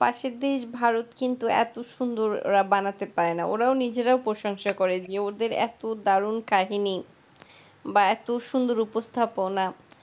পাশের দেশ-ভারত কিন্তু এত সুন্দর বানাতে পারেনা, ওরা নিজেরাও প্রশংসা করে যে ওদের এত দারুন কাহিনী বা এত সুন্দর উপস্থাপনা,